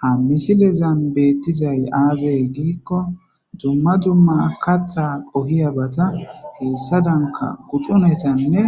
Ha misilezan beettizay aazey diikko dumma dumma katha qohiya bata heessa danka guxunetanne